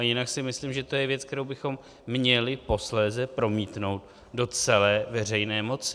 A jinak si myslím, že to je věc, kterou bychom měli posléze promítnout do celé veřejné moci.